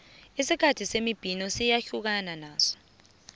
isikhathi semibhino siyahlukana naso